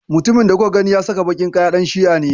Mutumin da kuka gani ya saka baƙin kaya ɗan Shi'a ne.